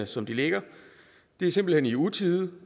som de ligger det er simpelt hen i utide